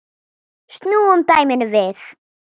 Snúum dæminu við.